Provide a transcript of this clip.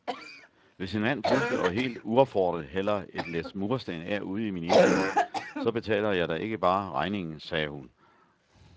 Hvis en mand pludselig og helt uopfordret hælder et læs mursten af ude i min indkørsel, så betaler jeg da ikke bare regningen, sagde hun.